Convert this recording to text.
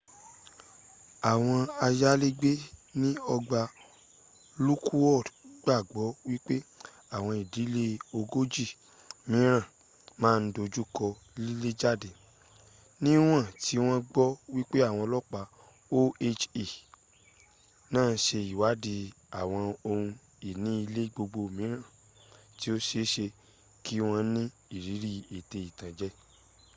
àwọn ayalégbé ní ọgbà lockwood gbàgbọ wípé àwọn ìdílé ogójì míràn ma dojuko lilejade níwọ̀n tí wọn gbọ wípé àwọn ọlọpa oha naa ń sẹ iwádìí àwọn ohùn ìní ilé gbogbo míràn tí o seese kí wọn ni irírí ètẹ ìtànje ilé